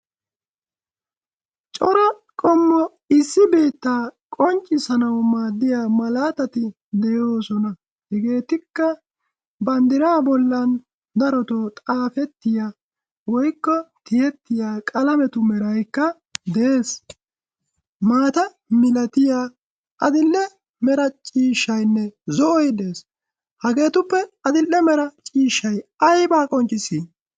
Cora qommo issi biittaa qonccissanaw maaddiya malatati de'oosona. Hegetikka banddra bollan xaafetiya woykko tiyyetiya qalametu meraykka de'ees. Maata milatiyaa, adl''e mera ciishshaynne zo'oy des. Hageetuppe adl"e mera ciishshay aybba qonccissii?